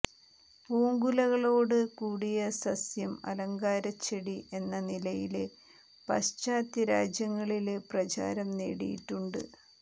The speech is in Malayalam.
പൂങ്കുലകളോട് കൂടിയ സസ്യം അലങ്കാരച്ചെടി എന്ന നിലയില് പാശ്ചാത്യരാജ്യങ്ങളില് പ്രചാരം നേടിയിട്ടുണ്ട്